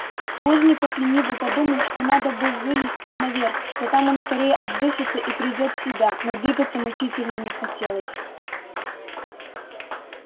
плужников лениво подумал что надо бы вылезти наверх что там он скорее отдышится и придёт в себя но двигаться мучительно не хотелось